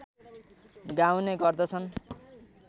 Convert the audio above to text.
गाउने गर्दछन्